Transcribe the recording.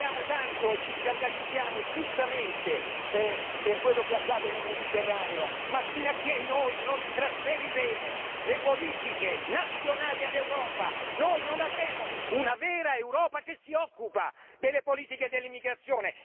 Parliamo tanto e ci scandalizziamo giustamente per quello che accade nel Mediterraneo ma fino a che noi non trasferiremo le politiche nazionali all'Europa noi non avremo una vera Europa che si occupa delle politiche dell'immigrazione.